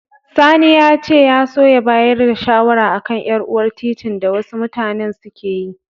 Sani ya ce ya so ya bayar da shawara a kan ƴar'uwar titin da wasu mutanen suke yi